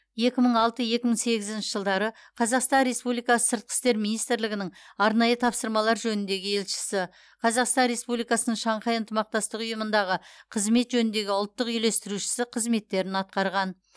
екі мың алты екі мың сегізінші жылдары қазақстан республикасы сыртқы істер министрлігінің арнайы тапсырмалар жөніндегі елшісі қазақстан республикасының шанхай ынтымақтастық ұйымындағы қызмет жөніндегі ұлттық үйлестірушісі қызметтерін атқарған